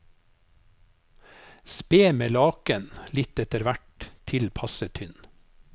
Spe med laken litt etterhvert, til passe tynn.